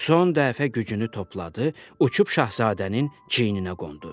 Son dəfə gücünü topladı, uçub şahzadənin çiyninə qondu.